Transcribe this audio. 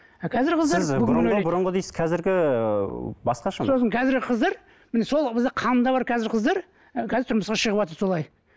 а қазіргі қыздар қазіргі басқаша сосын қазіргі қыздар міне сол кезде қанында бар қазіргі қыздар қазір тұрмысқа шығыватыр солай